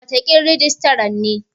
Wataƙila rijistaran ne.